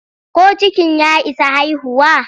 Ko cikin ya isa haihuwa?